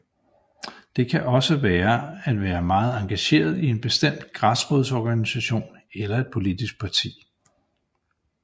Det kan også være at være meget engageret i en bestemt græsrodsorganisation eller et politisk parti